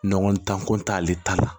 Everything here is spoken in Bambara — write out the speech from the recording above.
Ɲɔgɔn dan ko t'ale ta la